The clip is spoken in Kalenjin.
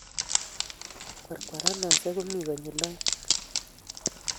Kwarkwaranosiiek komii konyil oeng'